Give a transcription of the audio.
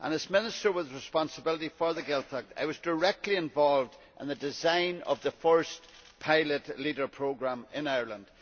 As Minister with responsibility for the Gaeltacht, I was directly involved in the design of the first, pilot Leader programme in Ireland.